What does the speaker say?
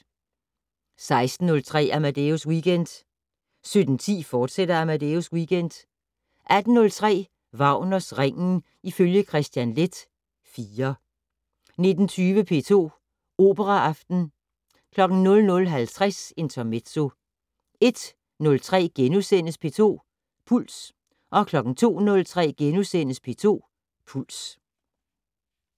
16:03: Amadeus Weekend 17:10: Amadeus Weekend, fortsat 18:03: Wagners Ringen ifølge Kristian Leth IV 19:20: P2 Operaaften 00:50: Intermezzo 01:03: P2 Puls * 02:03: P2 Puls *